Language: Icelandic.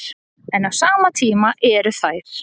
En á sama tíma eru þær